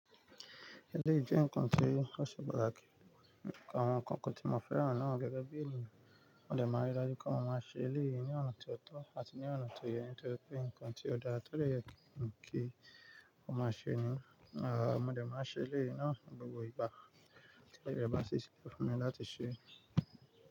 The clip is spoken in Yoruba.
Eléyìí jẹ́ nǹkan tí ó ṣe patakì, nǹkan àwọn kankan tíì mọ̀ fẹ́ràn náà gẹ́gẹ́ bí ènìyàn. Mo dẹ̀ máa n rí i dájú pé mo máa ṣe eléyìí ní ọ̀nà tó tọ́ àti ní ọ̀nà tó yẹ ní tóri pé nǹkan tí ó dára tọ́ dè yẹ kí a máa ṣe ni. Àá, mo dẹ̀ máa ṣe eléyìí náà ní gbogbo ìgbà tí ó yẹ, bá sì ṣìkẹ́ fún mi láti ṣe é.